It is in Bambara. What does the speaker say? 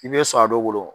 I bɛ sɔn a dɔ wolo